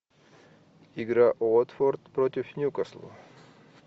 игра уотфорд против ньюкасла